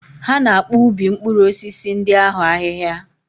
Ha na-akpụ ubi mkpụrụ osisi ndị ahụ ahịhia.